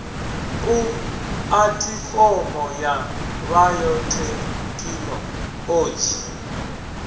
pu athifomo ya bayothekhino odzhi